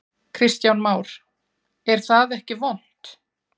Kristján Már: Er það ekki vont?